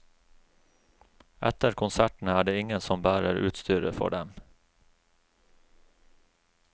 Etter konsertene er det ingen som bærer utstyret for dem.